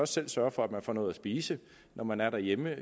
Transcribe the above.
selv sørge for at man får noget at spise når man er derhjemme